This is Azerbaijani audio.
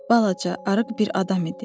Balaca, arıq bir adam idi.